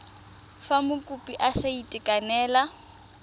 fa mokopi a sa itekanela